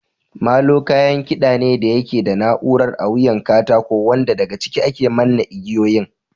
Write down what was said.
Molo kayan kiɗa ne da yake da na'urar a wuyan katako wanda daga ciki ake manne igiyoyin.